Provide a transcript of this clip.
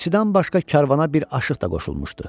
Elçidən başqa karvana bir aşıq da qoşulmuşdu.